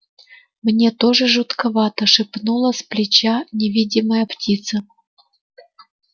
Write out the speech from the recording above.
мне тоже жутковато шепнула с плеча невидимая птица